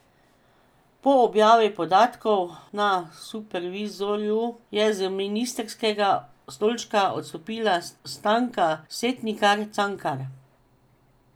Po objavi podatkov na Supervizorju je z ministrskega stolčka odstopila Stanka Setnikar Cankar.